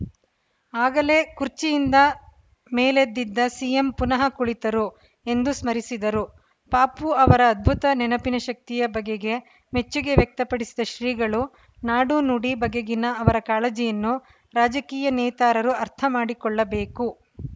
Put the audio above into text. ಆಗಲೇ ಕುರ್ಚಿಯಿಂದ ಮೇಲೆದ್ದಿದ್ದ ಸಿಎಂ ಪುನಃ ಕುಳಿತರು ಎಂದು ಸ್ಮರಿಸಿದರು ಪಾಪು ಅವರ ಅದ್ಭುತ ನೆನಪಿನ ಶಕ್ತಿಯ ಬಗೆಗೆ ಮೆಚ್ಚುಗೆ ವ್ಯಕ್ತಪಡಿಸಿದ ಶ್ರೀಗಳು ನಾಡು ನುಡಿ ಬಗೆಗಿನ ಅವರ ಕಾಳಜಿನ್ನು ರಾಜಕೀಯ ನೇತಾರರು ಅರ್ಥ ಮಾಡಿಕೊಳ್ಳಬೇಕು